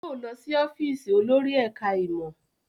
Yóò lọ sí ọ́fíìsì olórí ẹ̀ká ìmọ̀